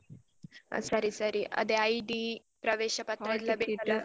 ಹಾ ಸರಿ ಸರಿ ಅದೇ ID ಪ್ರವೇಶ ಪತ್ರ ಎಲ್ಲ ಬೇಕಲ್ಲ